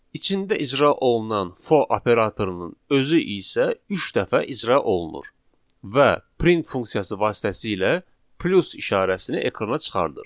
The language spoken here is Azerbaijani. İçində icra olunan for operatorunun özü isə üç dəfə icra olunur və print funksiyası vasitəsilə plus işarəsini ekrana çıxarır.